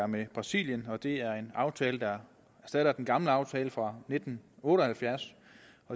med brasilien det er en aftale der erstatter den gamle aftale fra nitten otte og halvfjerds